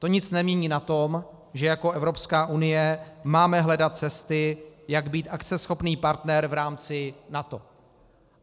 To nic nemění na tom, že jako Evropská unie máme hledat cesty, jak být akceschopný partner v rámci NATO.